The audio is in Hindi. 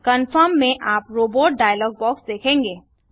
कनफर्म में आप रोबोट डायलॉग बॉक्स देखेंगे